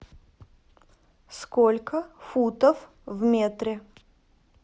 сколько футов в метре